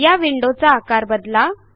या विंडोचा आकार बदला